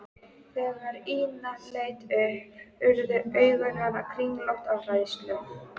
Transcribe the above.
Þegar Ína leit upp urðu augu hennar kringlótt af hræðslu.